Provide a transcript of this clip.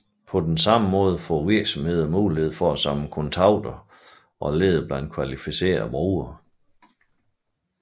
På samme måde får virksomheder mulighed for at samle kontakter og lede blandt kvalificerede brugere